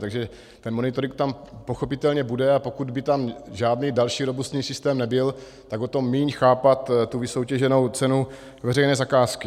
Takže ten monitoring tam pochopitelně bude, a pokud by tam žádný další robustní systém nebyl, tak o to méně chápat tu vysoutěženou cenu veřejné zakázky.